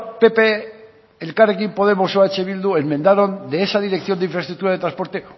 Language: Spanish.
pp elkarrekin podemos como eh bildu enmendaron de esa dirección de infraestructura de transporte